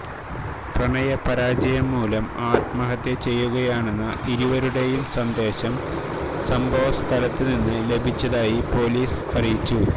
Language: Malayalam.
പ്രണയപരാജയം മൂലം ആത്മഹത്യ ചെയ്യുകയാണെന്ന ഇരുവരുടെയും സന്ദേശം സംഭവസ്ഥലത്ത് നിന്ന് ലഭിച്ചതായി പൊലീസ് അറിയിച്ചു